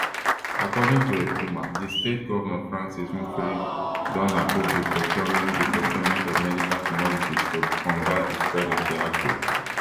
according to ekuma di state govnor francis nwifuru don approve di procurement di procurement of medical commodities to combat di spread of di outbreak